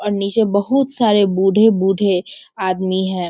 और निचे बहुत सारे बूढ़े-बूढ़े आदमी हैं।